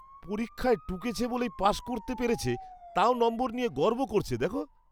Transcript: পরীক্ষায় টুকেছে বলেই পাশ করতে পেরেছে, তাও নম্বর নিয়ে গর্ব করছে দেখো?